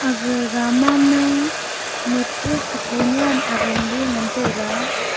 ga rama ma nutpu nyam seko aram ley ngan taiga.